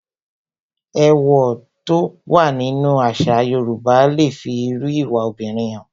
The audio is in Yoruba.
Èwọ̀ tó wà nínú àṣà Yorùbá le fi irú ìwà obìnrin hàn